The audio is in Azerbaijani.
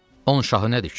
On şahı nədir, kişi?